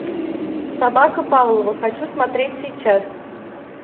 собака павлова хочу смотреть сейчас